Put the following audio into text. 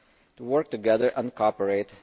to work together and cooperate.